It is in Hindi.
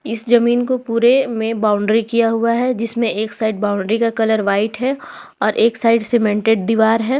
इस जमीन को पूरे में बाउंड्री किया हुआ है जिसमें एक साइड बाउंड्री का कलर व्हाइट है और एक साइड सीमेंटेड दीवार है।